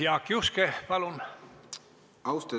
Jaak Juske, palun!